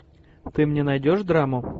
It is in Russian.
ты мне найдешь драму